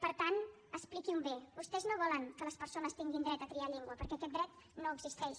per tant expliquin ho bé vostès no volen que les persones tinguin dret a triar llengua perquè aquest dret no existeix